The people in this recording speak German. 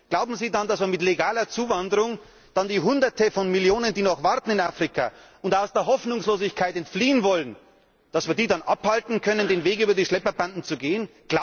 Glauben Sie denn, dass man mit legaler Zuwanderung dann die hunderte von Millionen, die noch warten in Afrika und die aus der Hoffnungslosigkeit entfliehen wollen, davon abhalten kann, den Weg über die Schlepperbanden zu gehen?